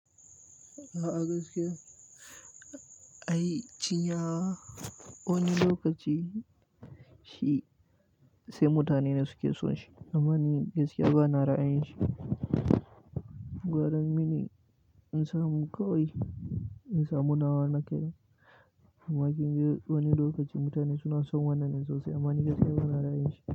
Amma ni gaskiya bana ra'ayin shi gwaran mini insamu kawai insamu nawa na kaina amma kinga wani lokaci mutane suna son wannan ɗin sosai amma sam ni bana ra'ayin shi.